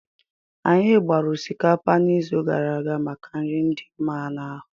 Anyị gbara osikapa n'izu gara aga maka nri dị mma n'ahu.